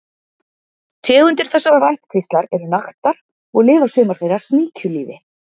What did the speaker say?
Tegundir þessarar ættkvíslar eru naktar og lifa sumar þeirra sníkjulífi.